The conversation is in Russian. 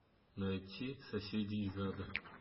найти соседи из ада